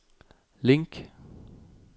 link